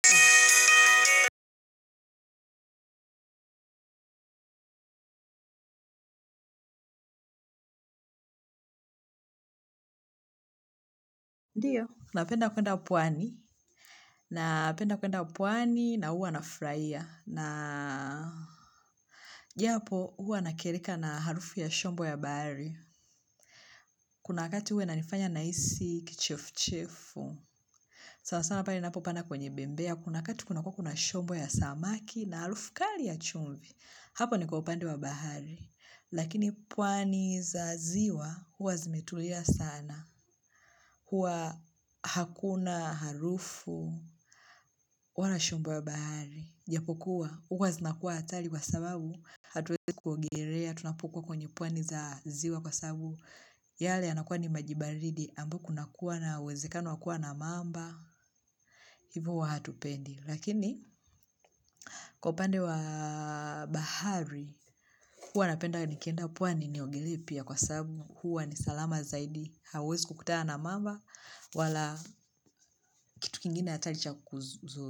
Ndiyo, napenda kwenda pwani, napenda kwenda pwani na huwa nafurahia, na japo huwa nakereka na harufu ya shombo ya bahari, kuna wakati huwainanifanya nahisi kichefuchefu, sana sana pale ninapopanda kwenye bembea, kuna wakati kunakuwa kunashombo ya samaki na harufu kali ya chumvi, hapo niko upande wa bahari, lakini pwani za ziwa huwa zimetulia sana. Huwa hakuna harufu, wala shombo wa bahari, japokuwa, huwa zinakuwa atari kwa sababu hatuwezi kuogelea, tunapukua kwenye puani za ziwa kwa sababu yale yanakuwa ni maji baridi, ambapo kunakuwa na uwezekano wakua na mamba, hivu huwa hatupendi. Lakini kwa upande wa bahari huwa napenda nikeenda pwani niogelee pia kwa sababu huwa ni salama zaidi hauwezikukutana na mamba wala kitu kingine hatari cha kukudhuru.